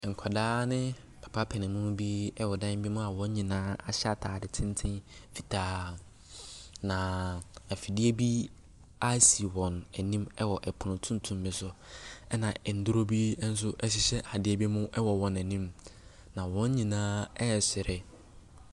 Nkwadaa ne papa panyinmu bi wɔ wdan bi mu a wɔn nyinaa ahyɛ ataade tenten fitaa. Na ɛfidie bi ɛsi wɔn anim wɔ ɛpono tuntum bi so. Ɛna nnuro bi nso ɛhyehyɛ adeɛ bi mu wɔ wɔn anim. na wɔn nyinaa ɛresere.